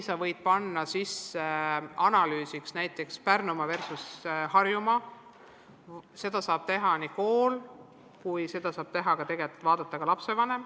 Võib analüüsida tulemusi näiteks Pärnumaa versus Harjumaa, seda saab teha kool ja seda saab tegelikult vaadata ka lapsevanem.